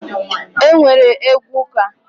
E nwere egwu ụka